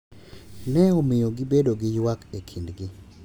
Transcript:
Ne omiyo gibedo gi ywak e kindgi.